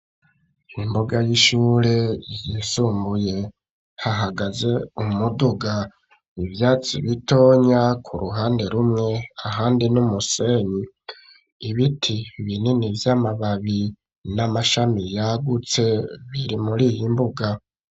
Imbuga y'ishure yisumbuye hahagaze umuduga, ivyatsi bitoya ku ruhande rumwe ahandi n'umusenyi ibiti binini vy'amababi n'amashami yagutse biri muriyi mbuga.